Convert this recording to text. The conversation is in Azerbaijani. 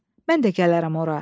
Mən də gələrəm ora.